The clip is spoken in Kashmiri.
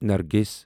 نرگِس